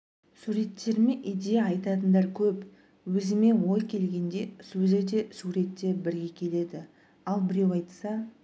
суреттеріме идея айтатындар көп өзіме ой келгенде сөзі де сурет те бірге келеді ал біреу айтса